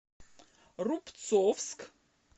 рубцовск